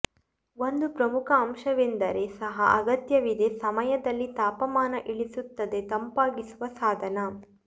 ಒಂದು ಪ್ರಮುಖ ಅಂಶವೆಂದರೆ ಸಹ ಅಗತ್ಯವಿದೆ ಸಮಯದಲ್ಲಿ ತಾಪಮಾನ ಇಳಿಸುತ್ತದೆ ತಂಪಾಗಿಸುವ ಸಾಧನ